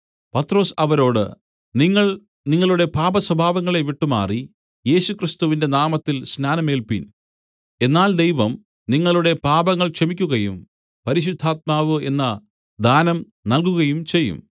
പത്രൊസ് അവരോട് നിങ്ങൾ നിങ്ങളുടെ പാപസ്വഭാവങ്ങളെ വിട്ടുമാറി യേശുക്രിസ്തുവിന്റെ നാമത്തിൽ സ്നാനമേൽപ്പിൻ എന്നാൽ ദൈവം നിങ്ങളുടെ പാപങ്ങൾ ക്ഷമിക്കുകയും പരിശുദ്ധാത്മാവ് എന്ന ദാനം നൽകുകയുംചെയ്യും